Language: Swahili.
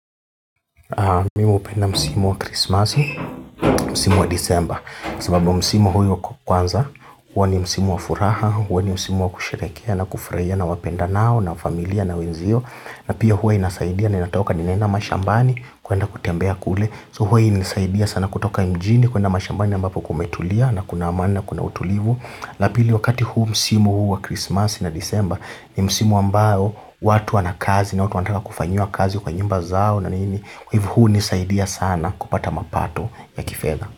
Mimu hupenda msimu wa Krismasi, msimu wa Disemba sababu msimu huyo kwanza, huwa ni msimu wa furaha huwa ni msimu wa kusherehekea na kufurahia na wapendanao na familia na wenzio na pia huwa inasaidia na inatoka ninaenda mashambani kuenda kutembea kule. So huwa inasaidia sana kutoka mjini kuenda mashambani ambapo kumetulia na kuna amani na kuna utulivu la pili wakati huu msimu huu wa Krismasi na Disemba ni msimu ambayo watu wana kazi na watu wanataka kufanyiwa kazi kwa nyumba zao na nini kwa hivo hunisaidia sana kupata mapato ya kifedha.